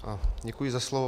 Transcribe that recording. Děkuji za slovo.